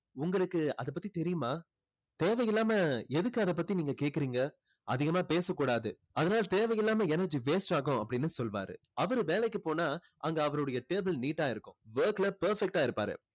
உங்களுக்கு அதை பத்தி தெரியுமா தேவையில்லாம எதுக்கு அதை பத்தி நீங்க கேக்குறீங்க அதிகமா பேசக்கூடாது அதனால தேவை இல்லாம energy waste ஆகும் அப்படின்னு சொல்லுவாரு. அவரு வேலைக்கு போனா அங்க அவரோட table neat ஆ இருக்கும் work ல perfect ஆ இருப்பாரு.